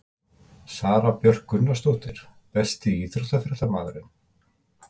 Sara Björk Gunnarsdóttir Besti íþróttafréttamaðurinn?